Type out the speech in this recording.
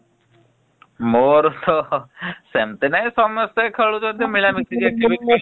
ମୋର ତ ସେମିତି ନାଇଁ ସମସ୍ତେ ଖେଳୁଛନ୍ତି